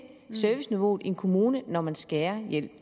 serviceniveauet i en kommune når man skærer